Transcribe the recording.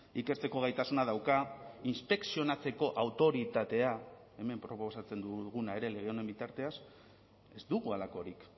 ikertzeko gaitasuna dauka inspekzionatzeko autoritatea hemen proposatzen duguna ere lege honen bitartez ez dugu halakorik